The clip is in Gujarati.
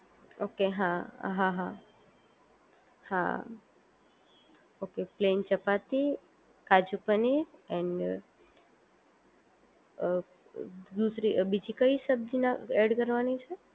ઓકે હા હા હા હા okay plain chapati kaju paneer and a દૂસરી બીજી કઈ સબ્જીના એડ કરવાની છે